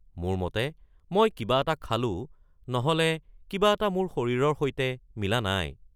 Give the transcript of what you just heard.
মোৰ মতে মই কিবা এটা খালোঁ নহ’লে কিবা এটা মোৰ শৰীৰৰ সৈতে মিলা নাই।